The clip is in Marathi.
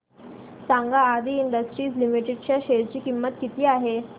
सांगा आदी इंडस्ट्रीज लिमिटेड च्या शेअर ची किंमत किती आहे